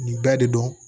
Nin bɛɛ de don